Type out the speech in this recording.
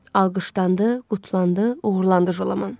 Alqışlandı, qutlandı, uğurlandı Jolaman.